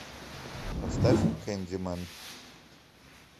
поставь кэндимэн